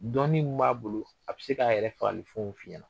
Dɔnni min b'a bolo, a bɛ se k'a yɛrɛ fagali fɛnw fi ɲɛ na .